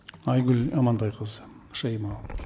айгүл амантайқызы шаимова